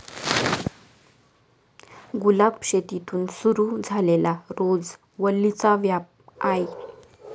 गुलाबशेतीतून सुरु झालेला रोज वल्लीचा व्याप आय.